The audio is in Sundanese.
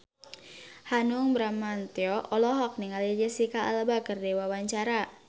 Hanung Bramantyo olohok ningali Jesicca Alba keur diwawancara